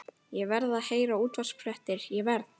Ég verð að heyra útvarpsfréttir, ég verð.